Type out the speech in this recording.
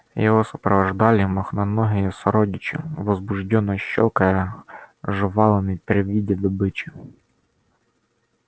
его сопровождали мохноногие сородичи возбуждённо щёлкая жвалами при виде добычи